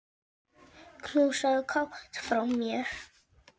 Knúsaðu Kát frá mér.